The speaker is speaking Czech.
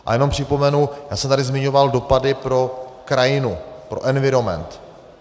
A jenom připomenu, já jsem tady zmiňoval dopady pro krajinu, pro environment.